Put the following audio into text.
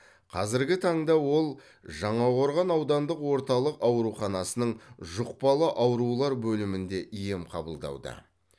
қазіргі таңда ол жаңақорған аудандық орталық ауруханасының жұқпалы аурулар бөлімінде ем қабылдауда